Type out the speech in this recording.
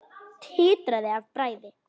Titraði af bræði.